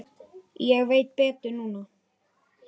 Nöfn skipta engu máli.